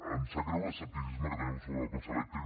em sap greu l’escepticisme que teniu sobre el cotxe elèctric